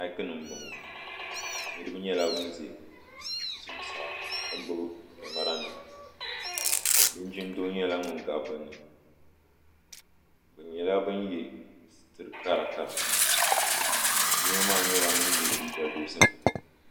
maik nim n bɔŋɔ niraba nyɛla bin ʒɛ zuɣusaa ka gbubi kamɛra nima linjin doo nyɛla ŋun gabi bi ni bi nyɛla bin yɛ siriti kara kara yino maa nyɛla ŋun yɛ liiga dozim